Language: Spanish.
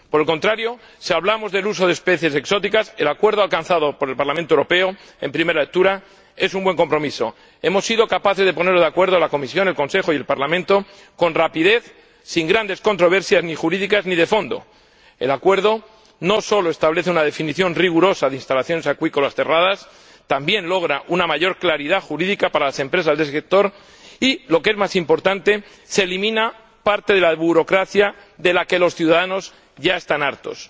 Por el contrario, si hablamos del uso de especies exóticas, el acuerdo alcanzado por el Parlamento Europeo en primera lectura es una buena transacción. Hemos sido capaces de ponernos de acuerdo la Comisión, el Consejo y el Parlamento con rapidez, sin grandes controversias, ni jurídicas ni de fondo. El acuerdo no solo establece una definición rigurosa de instalaciones acuícolas cerradas, sino que también logra una mayor claridad jurídica para las empresas del sector y lo que es más importante se elimina parte de la burocracia de la que los ciudadanos ya están hartos.